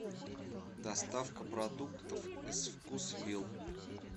доставка продуктов из вкусвилл